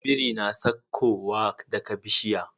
Biri na sakko wa daka bishiya